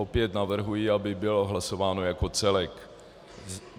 Opět navrhuji, aby bylo hlasováno jako celek.